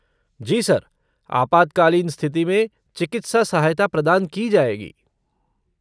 जी sir, आपातकालीन स्थिति में चिकित्सा सहायता प्रदान की जाएगी।